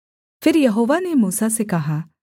फिर यहोवा ने मूसा से कहा